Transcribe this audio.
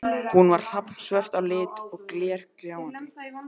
Hún er hrafnsvört á lit og glergljáandi.